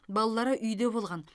балалары үйде болған